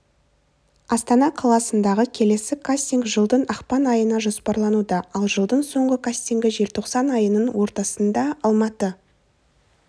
астана қаласындағы келесі кастинг жылдың ақпан айына жоспарлануда ал жылдың соңғы кастингі желтоқсан айының ортасында алматы